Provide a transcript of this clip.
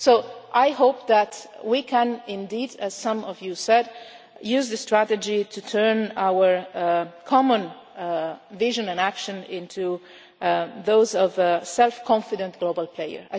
So I hope that we can indeed, as some of you said, use a strategy to turn our common vision and action into those of a self confident, global player.